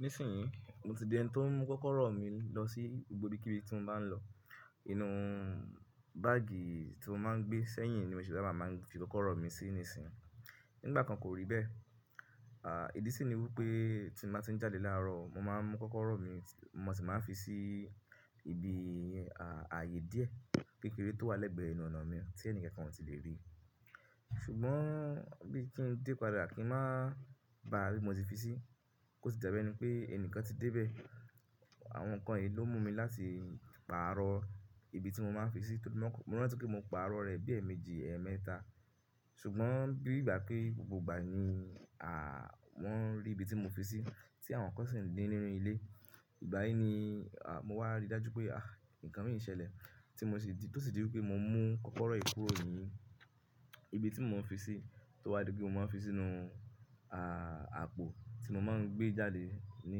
Nísìnyí, mo ti di ẹni tó n mú kọ́kọ́rọ́ mi lọ sí gbogbo ibi kí ibi tí mo bá ń lọ. Inú báàgì tí mo máa ń gbé sẹ́yìn ni mo ṣe sabaa ń fi kọ́kọ́rọ́ mi sí nísìnyí. Nígbà kan kò rí bẹ́ẹ̀. À, ìdí sì ni wí pé tí n bá ti ń jáde láàárọ̀, mo máa ń mú kọ́kọ́rọ́ mi, mo sì máa ń fi sí ibi, à, ààyè díẹ̀ kékeré tó wà lẹ́gbẹ̀ẹ́ enú ọ̀nà mi tí ẹnikankan ò tí lè rí. Ṣùgbọ́n bí kí n dé padà kí n má bá bi mo ti fi sí, kò sì dabi ẹni pé ẹni kan ti dé bẹ́ẹ̀. Àwọn nǹkan yìí ló mú mi láti pààrọ̀ ibi tí mo máa ń fi sí tóri mọ́, mò ranti pe mo pààrọ̀ rẹ̀ bí ẹ̀ẹ̀méjì, ẹ̀ẹ̀mẹ́ta. Ṣùgbọ́n bí ìgbà pé gbogbo ìgbà ni, à, wọ́n rí ibi tí mo fi sí tí àwọn nkan sì ńdi nínú ilé. Ìgbà yìí ni, à, mo wá rí dájú pé, ah, nǹkan mii ń ṣẹlẹ̀ tí mo sì di, tó sì di wí pé mo mú kọ́kọ́rọ́ yii kurò ni, ibi tí mo ń fi sí, tó wá di pé mo máa ń fi sínú, à, àpò tí mo máa ń gbé jáde ní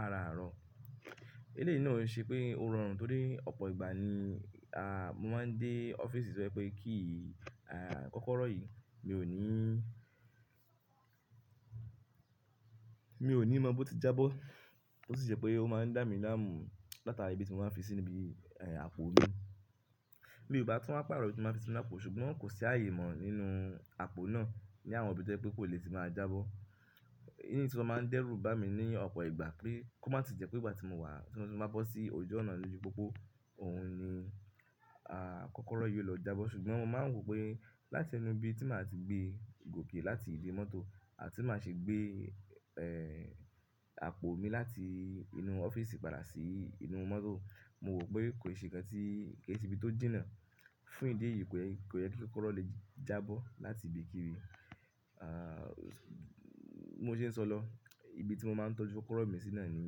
araàárọ̀. Eleyìí náà ò ṣe pé ó rọrùn torí ọ̀pọ̀ ìgbà ni, à, mo máa ń dé ọ́fíìsì to je pé key yii à, kọ́kọ́rọ́ yìí mi ò ní, mi ò ní mọ bó ti jábọ́. Ó sì ṣe pé ó máa ń dá mi láàmú látara ibi tí mo máa ń fi sí níbi, ẹ́, àpò mi. Mi ò bá tún wa páàrọ̀ ibi tí mo máa ń fisi nú àpò, ṣùgbọ́n kò sí ààyè mọ̀ nínú àpò náà ní àwọn ibi tí ó je pé kó le ti máa jábọ́. Iyi tun wa máa ń dẹ́rù bá mi ní ọ̀pọ̀ ìgbà pé kó má tí e jẹ́ pé ìgbà tí mo wà, tí mo bá bọ́ sí ojú ọ̀nà lóju pópó, òun ni, à, kọ́kọ́rọ́ yìí ó lọ jábọ́. Ṣùgbọ́n mo máa ń wò pé láti inu ibi tí màá ti gbé gòké láti ìdí mọ́tò àti máa ṣe gbé, ẹ́, àpò mi láti inú ọ́fíìsì padà sí inú mọ́tò. Mo wò pé kò sí ǹkan tí, kí nse ibi tó jìnà fún ìdí èyí pé kò yẹ kí kọ́kọ́rọ́ lè jábọ́ láti ibi kí ibi. À, bi mo ṣe ń sọ lọ, ibi tí mo máa ń tọ́jú kọ́kọ́rọ́ mi sí náà ni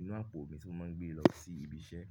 inú àpò mi tí mo máa ń gbé lọ sí ibi iṣẹ́.